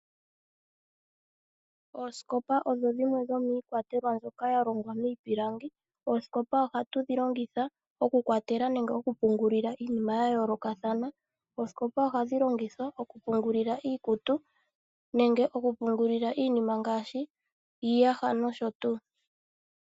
Oosikopa odho dhimwe dhomiikwatelwa mbyoka yalongwa miipilangi. Oosikopa oha tudhi longitha okukwatelwa nenge okupungulila iinima yayoolokathana. Oosikopa ohadhi longithwa okupungulila iikutu nenge okupungulila iinima ngaashi iiyaha nosho tuu.